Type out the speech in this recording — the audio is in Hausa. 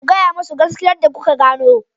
Ku gaya musu gaskiyarsa da kuka gano.